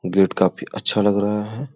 Gate काफी अच्छा लग रहा है।